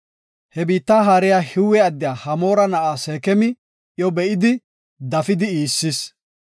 He biitta haariya Hiwe addiya Hamoora na7a Seekemi iyo be7idi, dafidi iissis.